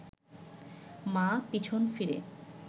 মা পিছন ফিরে